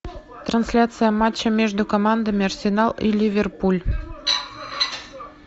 трансляция матча между командами арсенал и ливерпуль